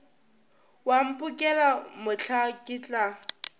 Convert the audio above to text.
wa mphokela mohla ke tla